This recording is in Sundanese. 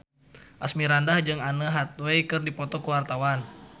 Asmirandah jeung Anne Hathaway keur dipoto ku wartawan